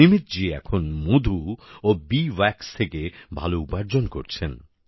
নিমিতজী এখন মধু ও বি ওয়াক্স থেকে ভাল উপার্জন করছেন